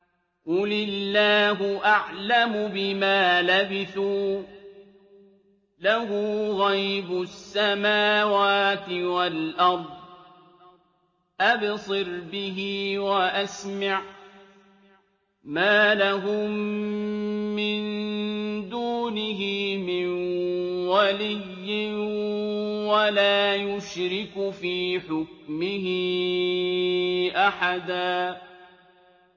قُلِ اللَّهُ أَعْلَمُ بِمَا لَبِثُوا ۖ لَهُ غَيْبُ السَّمَاوَاتِ وَالْأَرْضِ ۖ أَبْصِرْ بِهِ وَأَسْمِعْ ۚ مَا لَهُم مِّن دُونِهِ مِن وَلِيٍّ وَلَا يُشْرِكُ فِي حُكْمِهِ أَحَدًا